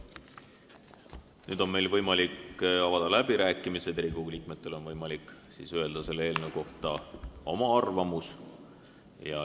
Nüüd on meil võimalik avada läbirääkimised, Riigikogu liikmetel on võimalik öelda selle eelnõu kohta oma arvamus.